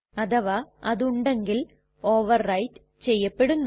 അഥവാ അത് ഉണ്ടെങ്കിൽ ഓവർ റൈറ്റ് ചെയ്യപ്പെടുന്നു